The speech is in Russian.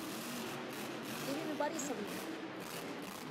ирины борисовны